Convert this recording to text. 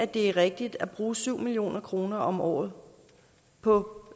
det er rigtigt at bruge syv million kroner om året på